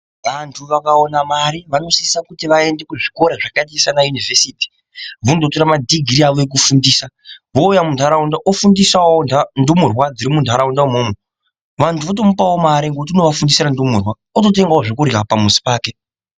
Vantu vakaona mari ,vanosisa kuti vaende kuzvikora zvakaita seanayunivhesiti mundotora madhogirii awo ekufundisa. Vouya muntaraunda otofundisawo ndumurwa dziri muntaraunda umwomwo, vantu votomupawo mare ngekuti unovafundisira ndumurwa, ototengawo zvekurya pamuzi pake.